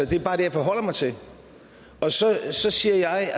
det er bare det jeg forholder mig til og så siger jeg